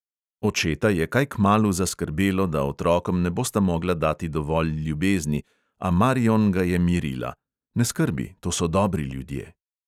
Očeta je kaj kmalu zaskrbelo, da otrokom ne bosta mogla dati dovolj ljubezni, a marion ga je mirila: "ne skrbi, to so dobri ljudje."